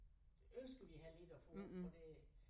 Ønsker vi heller ikke at få for det